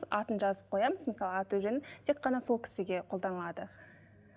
атын жазып қоямыз мысалы аты жөнін тек қана сол кісіге қолданылады